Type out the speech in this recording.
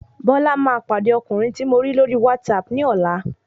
Bọla ma pàdé ọkùnrin tí mọ̀ lórí WhatsApp ní ọ̀la